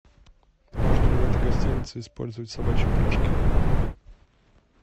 можно ли в этой гостинице использовать собачьи упряжки